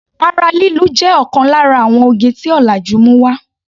Ara lílu jé òkan lára àwon oge tí ọ̀làjú mú wá.